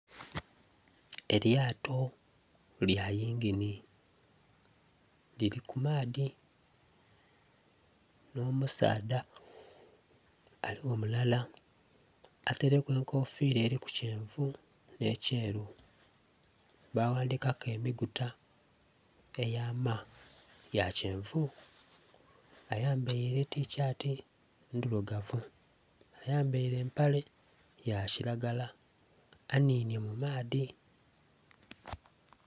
Elyato lya yingini lili ku maadhi, nh'omusaadha aliwo mulala, ataileku enkofiira eliku kyenvu nh'ekyeru, ba ghandikaku enhuguta eya ma, ya kyenvu. Ayambaile etishati ndhilugavu. Ayambaile empale ya kilagala, anhinye mu maadhi.